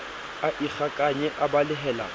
a ikgakanye a balehela ka